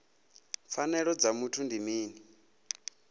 pfanelo dza muthu ndi mini